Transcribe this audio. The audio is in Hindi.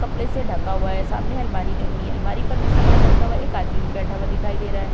कपड़े से ढका हुआ है सामने अलमारी बनी है अलमारी पर भी सामान रखा हुआ है एक आदमी भी बैठा हुआ दिखाई दे रहा है।